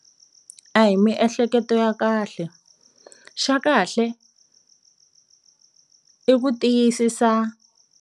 A hi miehleketo ya kahle xa kahle i ku tiyisisa.